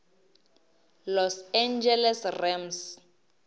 los angeles rams